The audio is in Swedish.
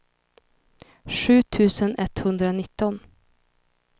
sju tusen etthundranitton